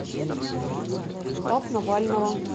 штаб навального